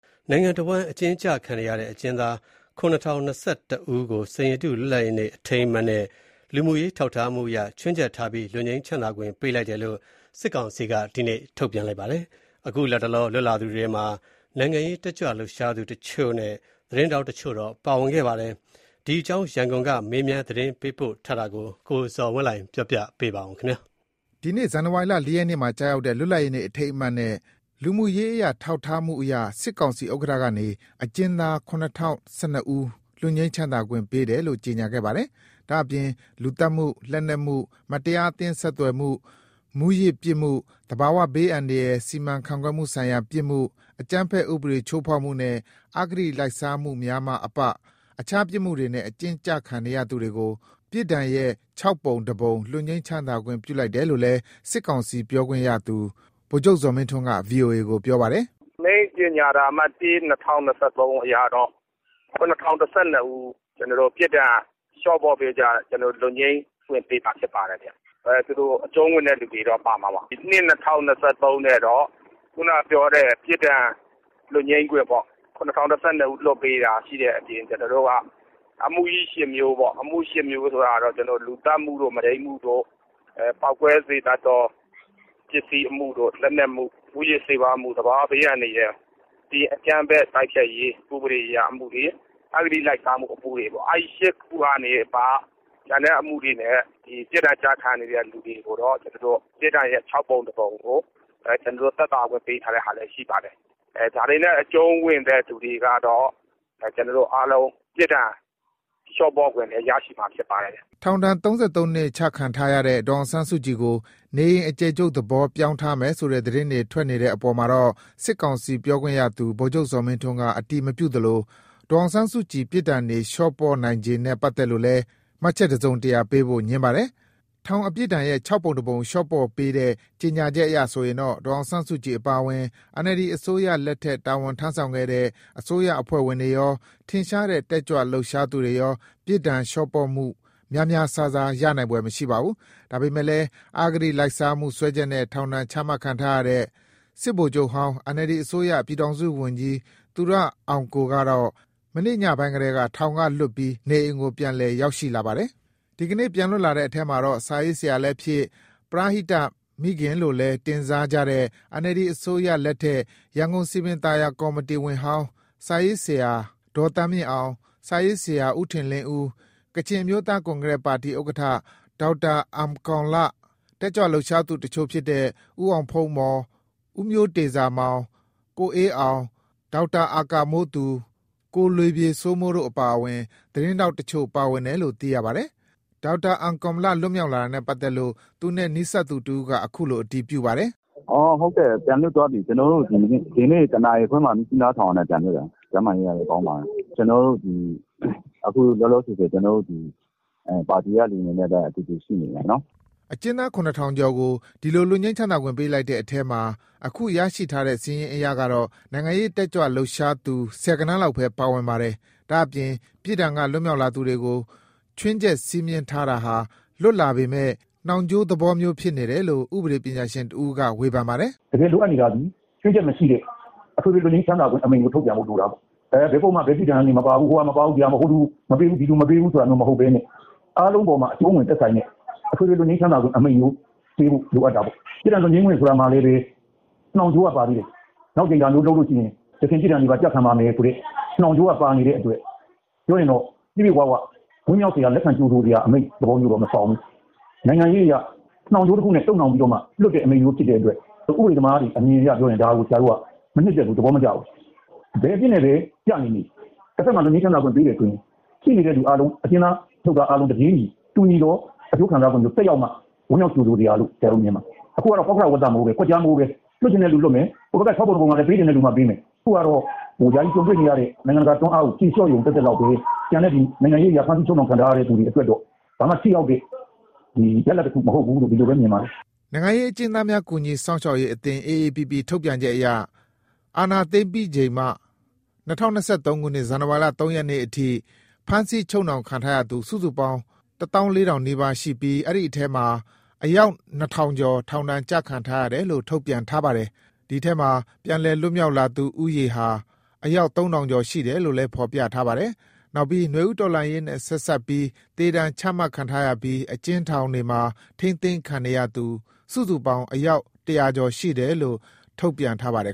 နိုင်ငံတဝှမ်းအကျဉ်းချခံနေရတဲ့ အကျဉ်းသား ၇,၀၀၀ ကျော်ကို စိန်ရတု လွတ်လပ်ရေးအထိမ်းအမှတ်နဲ့ လူမှုရေးထောက်ထားမှုအရ ခြွင်းချက်ထားပြီး လွတ်ငြိမ်းခွင့်ပေးတယ်လို့ စစ်ကောင်စီက ထုတ်ပြန်ခဲ့ပါတယ်။ အခု လတ်တလော လွတ်လာသူတွေထဲမှာ နိုင်ငံရေးတက်ကြွလှုပ်ရှားသူတချို့နဲ့ သတင်းထောက်တချို့ ပါဝင်ခဲ့ပါတယ်။ ဒီအကြောင်း ရန်ကုန်က မေးမြန်းသတင်းပေးပို့ထားတာကို ကိုဇော်ဝင်းလှိုင်က တင်ပြပေးထားပါတယ်။ ဒီနေ့ ဇန်နဝါရီလ ၄ ရက်မှာကျရောက်တဲ့ လွတ်လပ်ရေးနေ့ အထိမ်းအမှတ်နဲ့ လူမှုရေးအရ ထောက်ထားမှုအရ စစ်ကောင်စီဥက္ကဋ္ဌကနေ အကျဉ်းသား ၇,၀၁၂ ဦး လွတ်ငြိမ်းခွင့်ပေးတယ်လို့ ကြေညာခဲ့ပါတယ်။ ဒါ့အပြင် လူသတ်မှု၊ လက်နက်မှု၊ မတရားအသင်းဆက်သွယ်မှု၊ မူးယစ်ပြစ်မှု၊ သဘာဝဘေးအန္တရာယ်စီမံခန့်ခွဲမှုဆိုင်ရာပြစ်မှု၊ အကြမ်းဖက်ဥပဒေချိုးဖောက်မှုနဲ့ အဂတိလိုက်စားမှုများမှအပ အခြားပြစ်မှုတွေနဲ့အကျဉ်းချခံနေရသူတွေကို ပြစ်ဒဏ်ရဲ့ ၆ ပုံ တပုံ လွတ်ငြိမ်းသက်သာခွင့်ပြုလိုက်တယ်လို့လည်း စစ်ကောင်စီ ပြောခွင့်ရသူ ဗိုလ်ချုပ်ဇော်မင်းထွန်းက ဗွီအိုအေကို ပြောပါတယ်။ “ကျနော်တို့ အမိန့်ကြေညာစာအမှတ် ၁/၂၀၂၃ အရကတော့အကျဉ်းသား ၇,၀၁၂ ဦး ပြစ်ဒဏ်ကနေလွတ်ငြိမ်းချမ်းသာခွင့်ပေးထားပါတယ်။ အကျုံးဝင်သူတွေတော့ ပါမှာပါ။ ၂/၂၀၂၃ အရကတော့ခုနကပြောတဲ့ ၇,၀၁၂ ဦး လွတ်ငြိမ်းခွင့်အပြင် အမှုကြီး ၈ မှု၊ အမှုကြီး ၈ မှု ဆိုတာက လူသတ်မှု၊ မုဒိန်းမှုတို့၊ ပေါက်ကွဲစေတတ်တဲ့အမှု၊ လက်နက်မှု၊ မူးယစ်ဆေးဝါးမှု၊ သဘာဝဘေးအန္တရာယ်၊ အကြမ်းဖက် တိုက်ဖျက်ရေးအရအမှုတွေ၊ အဂတိအမှုတွေ၊ အဲ ၈ မှုတွေမှအပ ကျန်တဲ့အမှုတွေနဲ့ပြစ်ဒဏ်ကျခံနေရတဲ့သူတွေကို ပြစ်ဒဏ်ရဲ့ ၆ ပုံ ၁ ပုံ သက်သာခွင့်ပေးတာတွေ ရှိပါတယ်။ ဒါတွေနဲ့အကျုံးဝင်သူတွေအားလုံး လျှော့ပေါ့ခွင့်ရမှာ ဖြစ်ပါတယ်။” ထောင်ဒဏ် ၃၃ နှစ်ချခံထားရတဲ့ ဒေါ်အောင်ဆန်းစုကြည်ကို နေအိမ်အကျယ်ချုပ်သဘော ပြောင်းထားမယ်ဆိုတဲ့သတင်းတွေ ထွက်နေတဲ့အပေါ်မှာတော့ စစ်ကောင်စီ ပြောခွင့်ရသူ ဗိုလ်ချုပ်ဇော်မင်းထွန်းက အတည်မပြုသလို ဒေါ်အောင်ဆန်းစုကြည် ပြစ်ဒဏ်တွေလျှော့ပေါ့နိုင်ခြေနဲ့ပတ်သက်လို့လည်း မှတ်ချက်တစုံတရာပေးဖို့ ငြင်းပါတယ်။ ထောင်အပြစ်ဒဏ်ရဲ့ ၆ ပုံတပုံ လျှော့ပေါ့ပေးတဲ့ ကြေညာချက်အရဆိုရင်တော့ ဒေါ်အောင်ဆန်းစုကြည်အပါအဝင် NLD အစိုးရ လက်ထက် တာဝန်ထမ်းဆောင်ခဲ့တဲ့ အစိုးရအဖွဲ့ဝင်တွေရော၊ ထင်ရှားတဲ့ တက်ကြွ လှုပ်ရှားသူတွေရော ပြစ်ဒဏ်လျှော့ပေါ့မှု များများစားစား ရနိုင်ဖွယ်မရှိပါဘူး။ ဒါပေမယ့်လည်း အဂတိလိုက်စားမှု စွဲချက်နဲ့ ထောင်ဒဏ်ချမှတ်ခံထားရတဲ့ စစ်ဗိုလ်ချုပ်ဟောင်း NLD အစိုးရ ပြည်ထောင်စုဝန်ကြီး သူရဦးအောင်ကိုကတော့ မနေ့ညပိုင်းကတည်းက ထောင်ကလွတ်ပြီး နေအိမ်ကို ပြန်လည်ရောက်ရှိလာပါတယ်။ ဒီကနေ့ ပြန်လွတ်လာတဲ့အထဲမှာတော့ စာရေးဆရာလည်းဖြစ်၊ ပရဟိတမိခင်လို့လည်းတင်စားကြတဲ့ NLD အစိုးရလက်ထက် ရန်ကုန်စည်ပင်ကော်မတီဝင်ဟောင်း စာရေးဆရာဒေါ်သန်းမြင့်အောင် ၊ စာရေးဆရာ ဦးထင်လင်းဦး၊ ကချင်အမျိုးသား ကွန်ကရက်ပါတီ ဥက္ကဋ္ဌ ဒေါက်တာ အမ်ကောန်လ၊ တက်ကြွလှုပ်ရှား သူတချို့ဖြစ်တဲ့ ဦးအောင်ဖုန်းမော်၊ ဦးမျိုးတေဇာမောင်၊ ကိုအေးအောင်၊ ဒေါက်တာ အာကာမိုးသူ၊ ကိုလေပြေစိုးမိုးတို့အပါအဝင် သတင်းထောက်တချို့ ပါဝင်တယ်လို့ သိရပါတယ်။ ဒေါက်တာအမ်ကောန်လ က လွတ်မြောက်လာတာနဲ့ပတ်သက်လို့ သူနဲ့နီးစပ်သူတဦးက ခုလို အတည်ပြုပါတယ်။ “ဟုတ်ကဲ့။ ပြန်လွတ်သွားပြီ။ ဒီနေ့တနာရီခွဲမှာ မြစ်ကြီးနားထောင်ကနေပြန်လွတ်တယ်။ ကျန်းမာရေး ကောင်းပါတယ်။ ခုလောလောဆယ် ပါတီကလူတွေနဲ့တူတူရှိနေပါတယ်။” အကျဉ်းသား ၇ ထောင်ကျော် ဒီလိုလွတ်ငြိမ်းခွင့်ပေးလိုက်ပေးတဲ့အထဲမှာ အခု ရရှိတဲ့စာရင်းတွေအရတော့ နိုင်ငံရေးတက်ကြွလှုပ်ရှားသူ ဆယ်ဂဏန်းလောက်ပဲ ပါဝင်ပါတယ်။ ဒါ့အပြင် ပြစ်ဒဏ် က လွတ်မြောက်လာသူတွေကို ခြွင်းချက်စည်းမျဉ်းထားတာဟာ လွတ်လာပေမယ့် နှောင်ကြိုးသဘောမျိုးဖြစ်နေတယ်လို့ ဥပဒေပညာရှင်တဦးက ဝေဖန်ပါတယ်။ “တကယ်လိုအပ်နေတာသည် ချွင်းချက်မရှိတဲ့ လွတ်ငြိမ်းချမ်းသာခွင့်တွေလို အပ်တာပေါ့။ ဘယ်ပုဒ်မ ဘယ်ပြစ်ဒဏ်တွေ မပါဘူး။ ဟိုဟာမပါဘူး။ ဟိုလူမပါဘူး၊ ဒီလူမပါဘူး။ အားလုံးကို အကျုံးဝင်တဲ့ လွတ်ငြိမ်းချမ်းသာခွင့်ဖြစ်ဖို့လိုတာပေါ့။ ပြစ်ဒဏ်လွတ်ငြိမ်းခွင့်ဆိုတာမှာလည်း နှောင်ကြိုးက ပါသေးတယ်။ နောက်ဒါမျိူးလုပ်လို့ကတော့ အရင်ပြစ်ဒဏ်တွေပါ ပြန်ကျခံရမယ်ဆိုတဲ့ နှောင်ကြိုးတွေပါနေတာဆိုတော့ ပြည့်ပြည့်ဝဝ ဝမ်းမြောက်တဲ့သဘောမဆောင်ဘူး။ နိုင်ငံရေးအရ တုပ်နှောင်ပြီး လွှတ်တာဖြစ်တဲ့အတွက် ဥပဒေသမားတွေအမြင်အရ ဒါကို ဆရာတို့ကမနှစ်သက်ဘူး။ သဘောမကျဘူး။ ဘယ်အပြစ်နဲ့ပဲ ကျနေနေ တဘက်မှာ လွတ်ငြိမ်းချမ်းသာခွင့်ပေးတယ်ဆိုရင် အကျဉ်းသားအကုန်လုံး တပြေးညီအကျိုးခံစားခွင့်သက်ရောက်မှ ဝမ်းမြောက်ကြိုဆိုစရာလို့ မြင်တယ်။ အခုက ပေါက္ခရဝဿမိုး ကွက်ကျားရွာတဲ့မိုးပါပဲ။ လွှတ်ချင်တဲ့လူမှ လွှတ်မယ်။ ဟိုဘက်က ၆ ပုံ ၁ ပုံကလည်း ပေးချင်တဲ့လူမှ ပေးမယ်။ လတ်တလောအရ နိုင်ငံတကာဖိအားကို လျော့ရုံသက်သက်ပဲ။ နိုင်ငံရေးအရ ဖမ်းဆီးချုပ်နှောင်ခံထားရသူတွေအတွက်တော့ ဘာမှ ထိရောက်တဲ့ရလဒ်တခုမဟုတ်ဘူးလို့ပဲ မြင်ပါတယ်။” နိုင်ငံရေးအကျဉ်းသားများကူညီစောင့်ရှောက်ရေးအသင်း AAPP ထုတ်ပြန်ချက်အရ အာဏာသိမ်းချိန်ကနေ ၂၀၂၃ ခုနှစ် ဇန်နဝါရီလ ၃ ရက်နေ့ထိ ဖမ်းဆီးချုပ်နှောင်ခြင်းခံထားရသူ စုစုပေါင်း ၁၄,၀၀၀ နီးပါးရှိပြီး အဲဒီထဲကမှ အယောက် ၂,၀၀၀ ကျော် ထောင်ဒဏ်ကျခံထားရတယ်လို့ ထုတ်ပြန်ထားပါတယ်။ ဒီထဲမှာ ပြန်လည်လွတ်မြောက်လာသူဦးရေက အယောက် ၃,၀၀၀ ကျော်ရှိတယ်လို့ ဖော်ပြထားပါတယ်။ နောက်ပြီး နွေဦးတော်လှန်ရေးနဲ့ဆက်စပ်လို့ သေဒဏ်ချမှတ်ခံထားရပြီး အကျဉ်းထောင်တွေထဲ ထိန်းသိမ်းခံနေရသူစုစုပေါင်းက အယောက် ၁၀၀ ကျော်ရှိတယ်လို့ ထုတ်ပြန်ထားပါတယ်